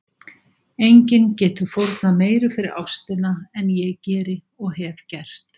Enginn getur fórnað meiru fyrir ástina en ég geri og hef gert.